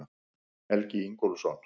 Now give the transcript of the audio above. Helgi Ingólfsson.